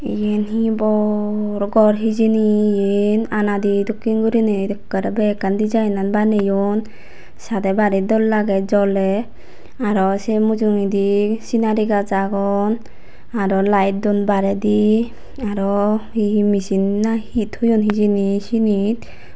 yen hi bor gor hijeni yen anade dokken gurinei ekkere bekkan deejinan baneyon sade bari dol lage jole araw se mujungedi sinari gaz agon araw lite don baredi araw hi hi misin na hi toyon hijeni sinit.